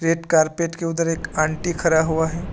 Carpet के उधर एक आंटी खरा हुआ है।